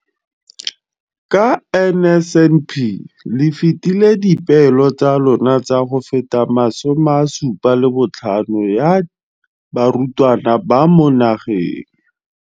Ka NSNP le fetile dipeelo tsa lona tsa go fepa masome a supa le botlhano a diperesente ya barutwana ba mo nageng.